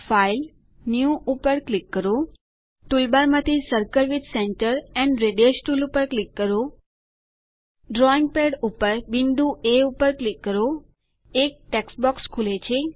file new ઉપર click કરો toolbar માંથી circle with centre and radius tool પર ક્લિક કરો ડ્રોઈંગ પેડ બિંદુ એ પર ક્લિક કરો એક ટેક્સ્ટ બોક્સ ખુલે છે